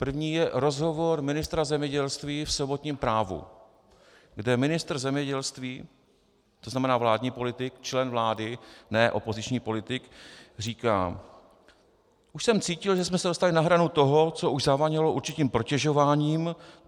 První je rozhovor ministra zemědělství v sobotním Právu, kde ministr zemědělství, to znamená vládní politik, člen vlády, ne opoziční politik, říká: Už jsem cítil, že jsme se dostali na hranu toho, co už zavánělo určitým protežováním.